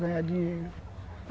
Ganhar dinheiro.